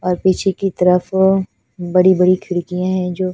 और पीछे की तरफ बड़ी बड़ी खिडकिया है जो--